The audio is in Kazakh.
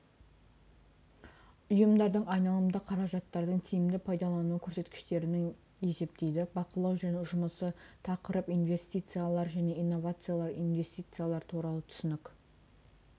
ұйымдардың айналымды қаражаттардың тиімді пайдалану көрсеткіштерінің есептейді бақылау жұмысы тақырып инвестициялар және инновациялар инвестициялар туралы түсінік